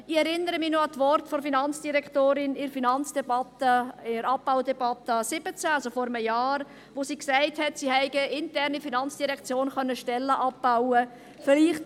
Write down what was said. Ich erinnere mich noch an die Worte der Finanzdirektorin in der Finanzdebatte, in der Abbaudebatte 2017, also vor einem Jahr, wo sie gesagt hat, sie hätten intern in der FIN Stellen abbauen können.